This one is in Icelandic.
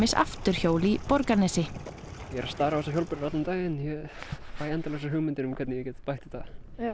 afturhjól í Borgarnesi ég er að stara á þessar hjólbörur allan daginn og fæ endalausar hugmyndir um hvernig ég get bætt þetta